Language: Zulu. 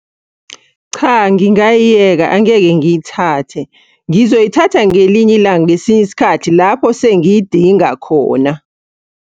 Cha, ngingayiyeka angeke ngiyithathe. Ngizoyithatha ngelinye ilanga ngesinye isikhathi lapho sengiyidinga khona.